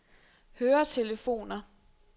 høretelefoner